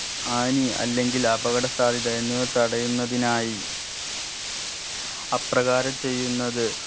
ഹാനി അല്ലെങ്കിൽ അപകട സാധ്യത എന്നിവ തടയുന്നതിനായി അപ്രകാരം ചെയ്യുന്നത്